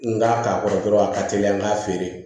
N k'a k'a kɔrɔ dɔrɔn a ka teli n k'a feere